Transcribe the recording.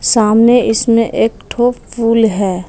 सामने इसमें एक ठो पुल है।